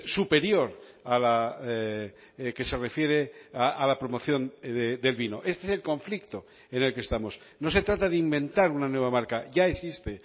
superior a la que se refiere a la promoción del vino este es el conflicto en el que estamos no se trata de inventar una nueva marca ya existe